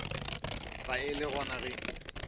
ba e le gona ge